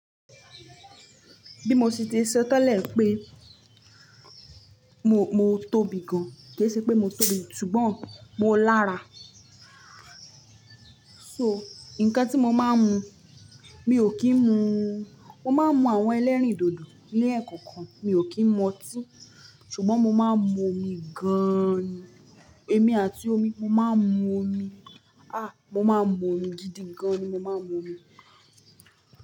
Bí mo ṣe ti sọ tẹ́lẹ̀ pé mo, mo tóbi gan, kì í ṣe pé mo tóbi, ṣùgbọ́n mo lára. So, nǹkan tí mo máa ń mu, mi ò kí ń mu. Mo máa ń mu àwọn ẹlẹ́rìndòdò ni ẹ̀ kọ̀ọ̀kan, mi ò kí ń mu ọtí. Ṣùgbọ́n mo máa ń mu omi gaaani. Èmi àti omi, mo máa ń mu omi. Ah, mo máa ń mu omi gidi gan ni, mo máa ń mu omi.